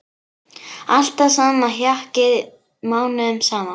Alltaf sama hjakkið mánuðum saman!